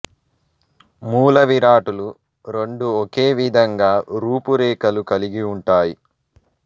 మూల విరాట్టులు రెండు ఒకే విధంగా రూపు రేఖలు కలిగి వుంటాయి